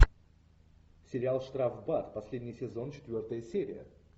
сериал штрафбат последний сезон четвертая серия